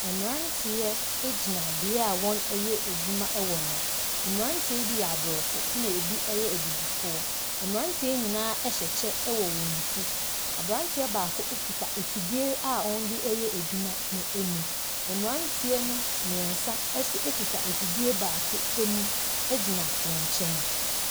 Mmranteɛ agyina bia a wɔn ɛyɛ adwuma wɔ no. Mmranteɛ yi bi ɛyɛ abrɔfo ɛna ebi ɛyɛ abibifoɔ. Mmranteɛ yi nyinaa ɛhyɛ kyɛ ɛwɔ ɔmo ti. Abranteɛ baako akita efidie a wɔn edi ɛyɛ adwuma no emu. Mmranteɛ no mmiensa akita efidie baako emu agyina n'enkyɛn.